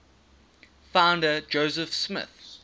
founder joseph smith